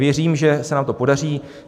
Věřím, že se nám to podaří.